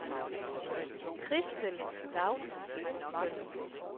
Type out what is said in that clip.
Christel Laustsen